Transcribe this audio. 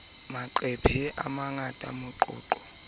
le phahamele mapoqo e sa